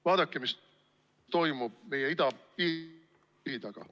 Vaadake, mis toimub meie idapiiri taga.